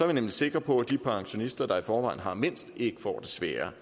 vi nemlig sikre på at de pensionister der i forvejen har mindst ikke får det sværere